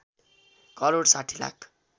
crore ६० lakh